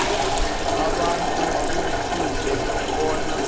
abantu kufuze bona